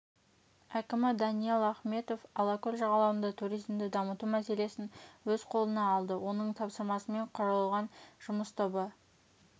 әкімі даниал ахметов алакөл жағалауында туризмді дамыту мәселесін өз қолына алды оның тапсырмасымен құрылған жұмыс тобы